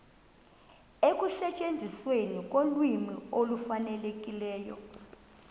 ekusetyenzisweni kolwimi olufanelekileyo